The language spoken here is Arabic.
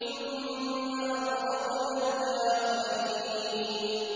ثُمَّ أَغْرَقْنَا الْآخَرِينَ